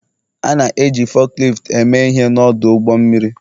A na-eji fukliftu eme ihe n'ọdụ ụgbọ mmiri